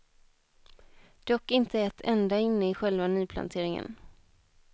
Dock inte ett enda inne i själva nyplanteringen.